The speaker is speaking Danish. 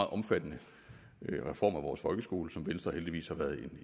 omfattende reform af vores folkeskole som venstre heldigvis har været